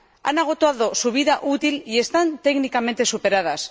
Han agotado su vida útil y están técnicamente superadas.